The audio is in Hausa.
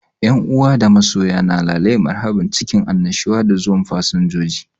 Yan uwa da masoya na lale marhabun cikin annushuwa da zuwan fasinjoji.